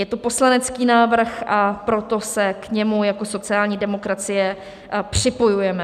Je to poslanecký návrh, a proto se k němu jako sociální demokracie, připojujeme.